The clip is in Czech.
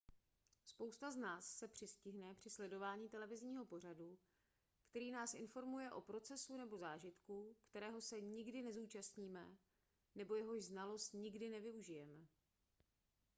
spousta z nás se přistihne při sledování televizního pořadu který nás informuje o procesu nebo zážitku kterého se nikdy nezúčastníme nebo jehož znalost nikdy nevyužijeme